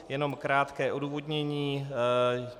Jenom krátké odůvodnění.